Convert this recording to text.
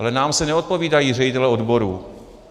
Ale nám se neodpovídají ředitelé odborů.